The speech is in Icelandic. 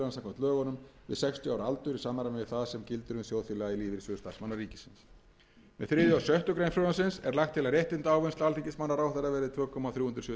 og sjöttu greinar frumvarpsins er lagt til að réttindaávinnsla alþingismanna og ráðherra verði tvö komma þrjú sjö fimm prósent fyrir